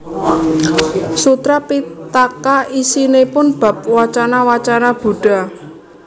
Sutra Pittaka isinipun bab wacana wacana Buddha